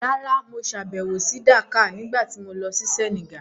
Rárá, mo sàbẹ̀wò sí Dakar nígbà tí mo lọ sí Senegal.